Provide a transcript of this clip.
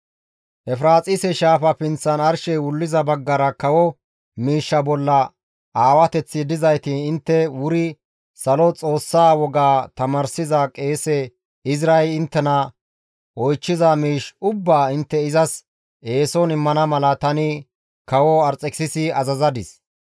«Efiraaxise shaafa pinththan arshey wulliza baggara kawo miishsha bolla aawateththi dizayti intte wuri Salo Xoossaa woga tamaarsiza qeese Izray inttena oychchiza miish ubbaa intte izas eeson immana mala tani kawo Arxekisisi azazadis.